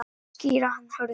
Skýra hann Hörður.